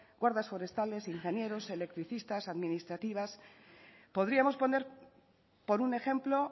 guardas forestales ingenieros electricistas administrativas podríamos poner por un ejemplo